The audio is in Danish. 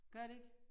Gør det ikke?